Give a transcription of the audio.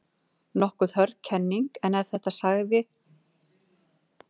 Nokkuð hörð kenning, en þetta sagði ég reyndar- ef gömul minnisblöð ljúga ekki.